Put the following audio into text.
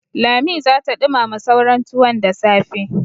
Lami za ta ɗumama sauran tuwon da safe.